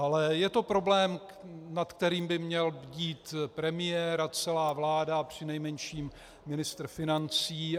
Ale je to problém, nad kterým by měl bdít premiér a celá vláda a přinejmenším ministr financí.